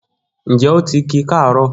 Njẹ oti ki kaaro?